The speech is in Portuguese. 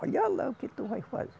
Olha lá o que tu vai fazer.